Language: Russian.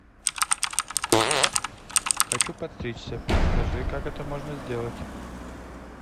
хочу подстричься подскажи как это можно сделать